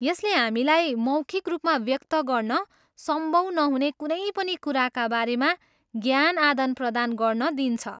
यसले हामीलाई मौखिक रूपमा व्यक्त गर्न सम्भव नहुने कुनै पनि कुराका बारेमा ज्ञान आदानप्रदान गर्न दिन्छ।